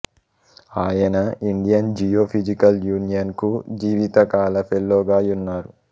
ఆయన Indian geophysical union కు జీవితకాల ఫెలోగా యున్నారు